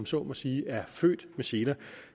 så må sige er født med seler